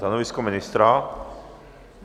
Stanovisko ministra?